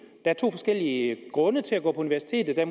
er to forskellige grunde til at gå på universitetet at